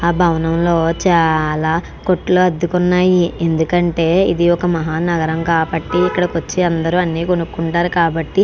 ఆ బావనం లో చాలా కోటలు అద్దెకి ఉన్నాయి ఎందుకు అంటే ఇది ఒక మహా నాగారం కాబట్టి ఇక్కడకి వచ్చే అందరూ అని కొనుకుంటారు కాబట్టి.